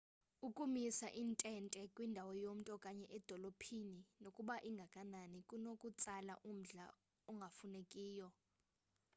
ukumisa intente kwindawo yomntu okanye edolophini nokuba ingakanani kunokutsala umdla ongafunekiyo